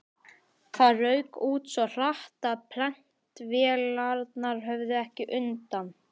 Það rauk út svo hratt, að prentvélarnar höfðu ekki undan.